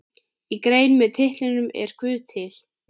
Í grein með titlinum Er guð til?